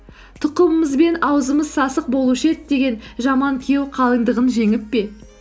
тұқымымызбен аузымыз сасық болушы еді деген жаман күйеу қалыңдығын жеңіп пе